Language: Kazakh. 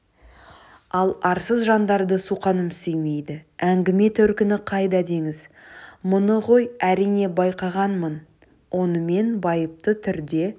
ал арсыз жандарды суқаным сүймейді әңгіме төркіні қайда деңіз мұны ғой әрине байқағанмын онымен байыпты түрде